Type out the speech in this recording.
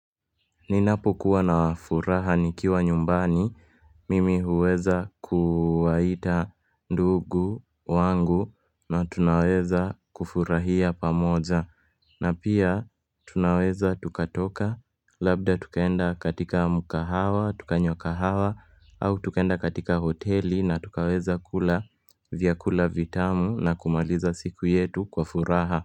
Ninapokuwa na furaha nikiwa nyumbani, mimi huweza kuwaita ndugu wangu na tunaweza kufurahia pamoja. Na pia tunaweza tukatoka, labda tukaenda katika mkahawa, tukanywa kahawa, au tukaenda katika hoteli na tukaweza kula vyakula vitamu na kumaliza siku yetu kwa furaha.